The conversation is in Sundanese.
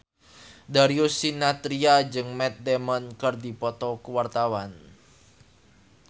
Darius Sinathrya jeung Matt Damon keur dipoto ku wartawan